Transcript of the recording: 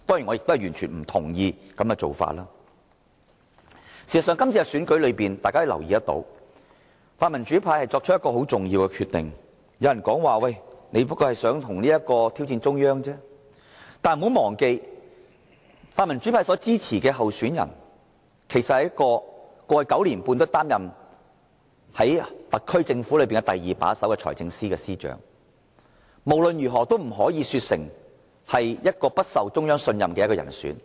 在今次的選舉中，大家可以留意到，泛民主派作了一個很重要的決定，有人說："你們只不過是想挑戰中央而已"，但不要忘記，泛民主派所支持的候選人，在過去9年半一直擔任特區政府中第二把手的財政司司長，無論如何也不可說成他是不獲中央信任的人選。